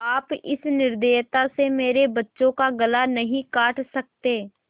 आप इस निर्दयता से मेरे बच्चों का गला नहीं काट सकते